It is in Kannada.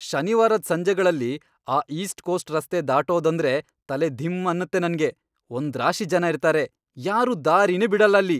ಶನಿವಾರದ್ ಸಂಜೆಗಳಲ್ಲಿ ಆ ಈಸ್ಟ್ಕೋಸ್ಟ್ ರಸ್ತೆ ದಾಟೋದಂದ್ರೇ ತಲೆ ಧಿಂ ಅನ್ನತ್ತೆ ನಂಗೆ, ಒಂದ್ರಾಶಿ ಜನ ಇರ್ತಾರೆ, ಯಾರೂ ದಾರಿನೇ ಬಿಡಲ್ಲ ಅಲ್ಲಿ.